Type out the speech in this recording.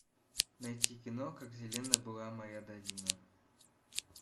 найти кино как зелена была моя долина